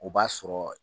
O b'a sɔrɔ